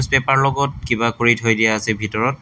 Paper লগত কিবা কৰি থৈ দিয়া আছে ভিতৰত।